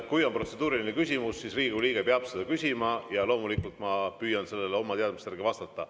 Kui on protseduuriline küsimus, siis Riigikogu liige peab seda küsima ja loomulikult ma püüan sellele oma teadmiste järgi vastata.